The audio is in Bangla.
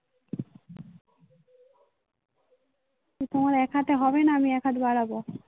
তোমার একহাতে হবে না. আমি এক হাত বাড়াবো.